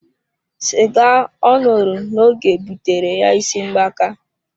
Cigar oṅụru na oge butere ya isi mgbaka.